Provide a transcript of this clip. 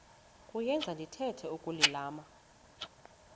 kuyenza ndithetha ukulilima